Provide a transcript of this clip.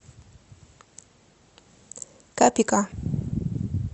капика